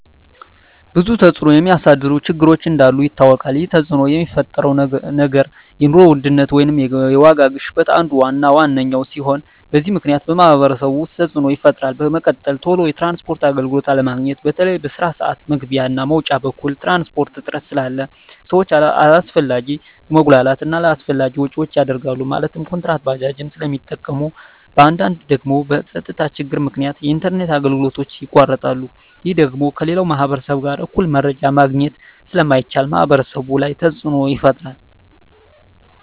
ብዙ ተፅዕኖ የሚያሳድሩ ችግሮች እንዳሉ ይታወቃል ይህ ተፅዕኖ የሚፈጥረው ነገር የኑሮ ውድነት ወይም የዋጋ ግሽበት አንዱ እና ዋነኛው ሲሆን በዚህ ምክንያት በማህበረሰቡ ውስጥ ተፅዕኖ ይፈጥራል በመቀጠል ቶሎ የትራንስፖርት አገልግሎት አለማግኘት በተለይ በስራ ስዓት መግቢያ እና መውጫ በኩል የትራንስፖርት እጥረት ስላለ ሰዎች አላስፈላጊ መጉላላት እና አላስፈላጊ ወጪዎች ይዳረጋሉ ማለትም ኩንትራት ባጃጆችን ስለሚጠቀሙ በአንዳንድ ደግሞ በፀጥታ ችግር ምክንያት የኢንተርኔት አገልግሎቶች ይቋረጣሉ ይህ ደግሞ ከሌላው ማህበረሰብ ጋር እኩል መረጃ ማግኘት ስለማይቻል ማህበረሰቡ ላይ ተፅዕኖ ይፈጥራል